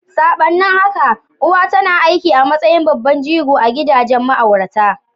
Sabanin haka, uwa tana aiki a matsayin babban jigo a gidajen ma'aurata.